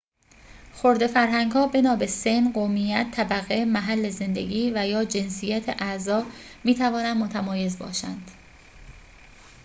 خرده فرهنگ‌ها بنا به سن، قومیت، طبقه، محل زندگی و/یا جنسیت اعضا می‌توانند متمایز باشند